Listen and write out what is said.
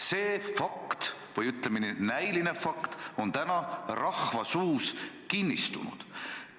See näiline fakt on rahva seas kinnistunud.